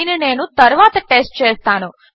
దీనిని నేను తరువాత టెస్ట్ చేస్తాను